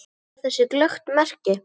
Og ber þess glöggt merki.